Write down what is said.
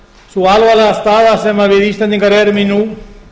sú alvarlega staða sem við íslendingar erum í nú